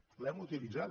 l’hem utilitzada